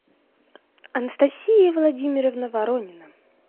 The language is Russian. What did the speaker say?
анастасия владимировна воронина